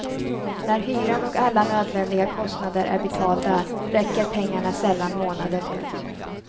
När hyran och alla nödvändiga kostnader är betalda räcker pengarna sällan månaden ut.